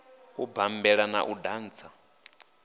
u bammbela na u dantsa